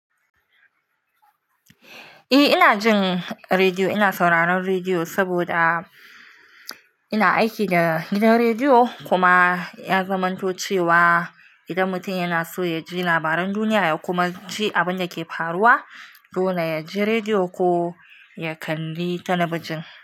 Eh ina jin rediyo, ina sauraron rediyo saboda ina aiki da gidan rediyo. Kuma ya zamanto cewa idan mutum yana so ya ji labaran duniya ya kuma ji abin da ke faruwa, dole ya ji rediyo ko ya kalli telebijin.